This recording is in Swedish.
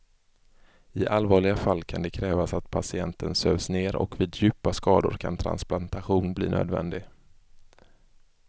I allvarliga fall kan det krävas att patienten sövs ner och vid djupa skador kan transplantation bli nödvändig.